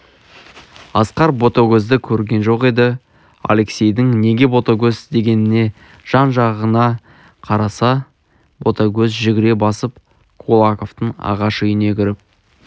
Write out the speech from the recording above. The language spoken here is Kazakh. асқар ботагөзді көрген жоқ еді алексейдің неге ботагөз дегеніне жан-жағына қараса ботагөз жүгіре басып кулаковтың ағаш үйіне кіріп